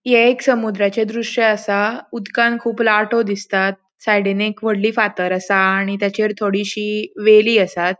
ये एक समुद्राचे द्रश्य असा उदकान कुब लाटो दिसतात सायडींन एक वोडली फातर असा आणि ताचेर थोडीशी वेली आसात